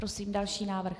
Prosím další návrh.